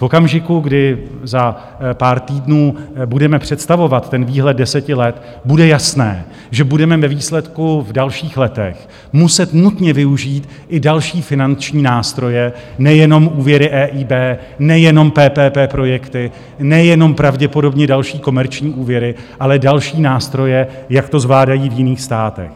V okamžiku, kdy za pár týdnů budeme představovat ten výhled deseti let, bude jasné, že budeme ve výsledku v dalších letech muset nutně využít i další finanční nástroje, nejenom úvěry EIB, nejenom PPP projekty, nejenom pravděpodobně další komerční úvěry, ale další nástroje, jak to zvládají v jiných státech.